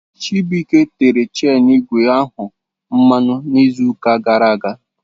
Chibuike tere chenu ígwè ahụ mmanụ n'izuụka gara aga.